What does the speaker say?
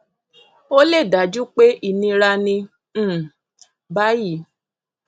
ó lè dájú pé ìnira ní um báyìí